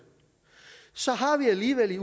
så har vi alligevel